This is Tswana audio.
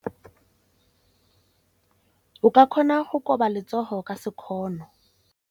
O ka kgona go koba letsogo ka sekgono.